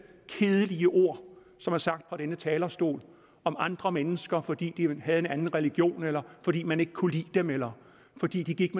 kedelige ord som er sagt fra denne talerstol om andre mennesker fordi de havde en anden religion eller fordi man ikke kunne lide dem eller fordi de gik